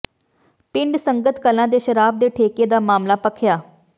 ਪਿੰਡ ਸੰਗਤ ਕਲਾਂ ਦੇ ਸ਼ਰਾਬ ਦੇ ਠੇਕੇ ਦਾ ਮਾਮਲਾ ਭਖ਼ਿਆ